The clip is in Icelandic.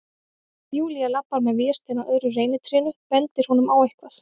Júlía labbar með Véstein að öðru reynitrénu, bendir honum á eitthvað.